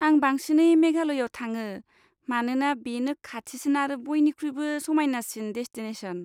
आं बांसिनै मेघालयाव थाङो, मानोना बेनो खाथिसिन आरो बयनिख्रुइबो समायनासिन डेसटिनेसन।